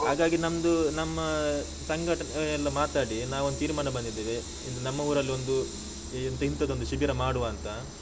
ಹಾಗಾಗಿ ನಮ್ದು, ನಮ್ಮ ಸಂಘಟ ಎಲ್ಲ ಮಾತಾಡಿ, ನಾವೊಂದು ತೀರ್ಮಾನ ಬಂದಿದ್ದೇವೆ, ಇಲ್ಲಿ ನಮ್ಮ ಊರಲ್ಲಿ ಒಂದು ಇಂತದೊಂದು ಶಿಬಿರ ಮಾಡುವ ಅಂತ.